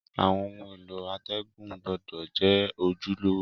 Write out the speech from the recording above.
Àwon oun èló àtègùn gbúdò je ojúlówó